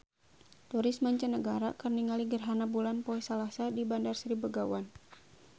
Turis mancanagara keur ningali gerhana bulan poe Salasa di Bandar Sri Begawan